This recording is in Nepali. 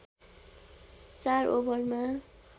४ ओभरमा